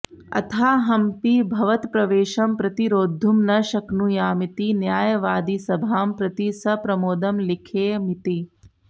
अथाहमपि भवत्प्रवेशं प्रतिरोद्धुं न शक्नुयामिति न्यायवादिसभां प्रति सप्रमोदं लिखेयमिति